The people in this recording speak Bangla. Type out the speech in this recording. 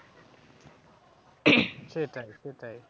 সেটাই সেটাই